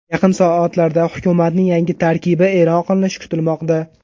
Yaqin soatlarda hukumatning yangi tarkibi e’lon qilinishi kutilmoqda.